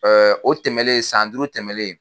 o tɛmɛnen san duuru tɛmɛnen.